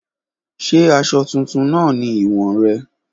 Ṣe aṣọ tuntun naa ni iwọn rẹ?